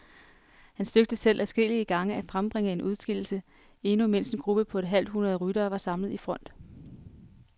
Han søgte selv adskillige gange at fremtvinge en udskillelse, endnu mens en gruppe på et halvt hundrede ryttere var samlet i front.